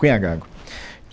Cunha Gago.